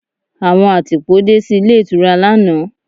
Àwọn àtìpó dé sí ilé ìtura lánàá.